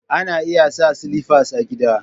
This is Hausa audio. Ana iya sa sliffas a gida.